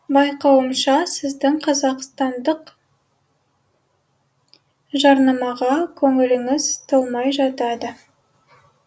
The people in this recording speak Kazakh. байқауымша сіздің қазақстандық жарнамаға көңіліңіз толмай жатады